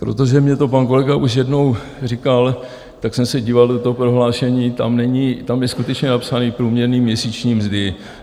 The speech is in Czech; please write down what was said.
Protože mi to pan kolega už jednou říkal, tak jsem se díval do toho prohlášení, tam je skutečně napsáno průměrné měsíční mzdy.